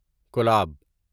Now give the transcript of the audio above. collab